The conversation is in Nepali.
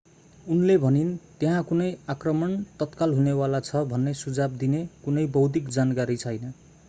उनले भनिन् त्यहाँ कुनै आक्रमण तत्काल हुने वाला छ भन्ने सुझाव दिने कुनै बौद्धिक जानकारी छैन